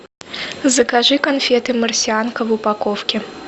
закажи конфеты марсианка в упаковке